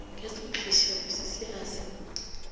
ka senkgišabose se a se